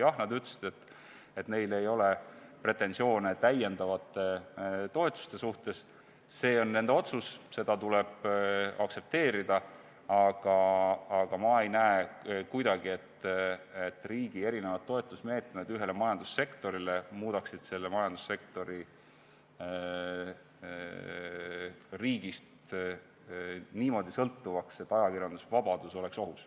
Jah, nad ütlesid, et neil ei ole pretensioone täiendavate toetuste suhtes – see on nende otsus, seda tuleb aktsepteerida –, aga ma ei näe kuidagi, et riigi toetusmeetmed ühele majandussektorile muudaksid selle majandussektori riigist niimoodi sõltuvaks, et ajakirjandusvabadus oleks ohus.